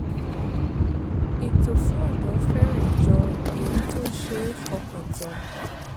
ètò fún ọ̀dọ́ fẹ́rẹ̀ jọ èyí tó ṣe é fọkàn tán